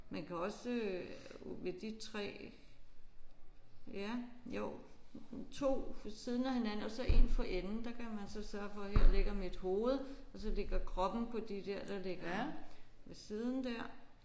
Man kan også ved de 3 ja jo 2 ved siden af hinanden og så én for enden der kan man så sørge for her ligger mit hoved og så ligger kroppen på de der der ligger ved siden der